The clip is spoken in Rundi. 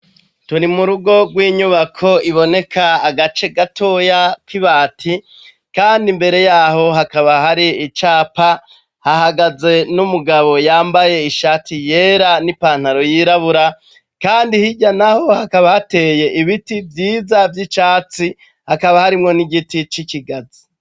Turi mu rugo rw'inyubako iboneka agace gatoya k'ibati, kand'imbere y'aho hakaba har'icapa. Hahagaze n'umugabo yambaye ishati yera n'ipataro yirabura. Kandi hirya naho, hakaba hateye ibiti vyiza vy'icatsi, hakaba harimwo n'igiti c'ikigazi.